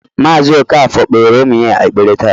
Mazị Okafor kpere ụmụ ya ekpere taa